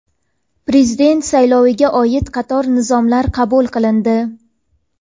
Prezident sayloviga oid qator nizomlar qabul qilindi.